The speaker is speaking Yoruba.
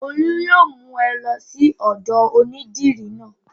Olú yóò mú ẹ lọ sí ọ̀dọ̀ onídìrí náà.